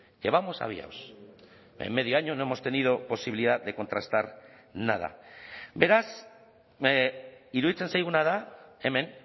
que vamos aviados en medio año no hemos tenido posibilidad de contrastar nada beraz iruditzen zaiguna da hemen